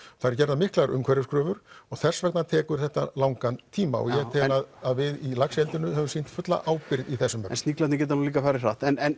það eru gerðar miklar umhverfiskröfur og þess vegna tekur þetta langan tíma og ég tel að við í laxeldinu höfum sýnt fulla ábyrgð í þessum en sniglarnir geta nú líka farið hratt en